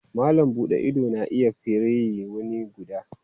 Malam buɗe ido na iya firiyi wuni guda.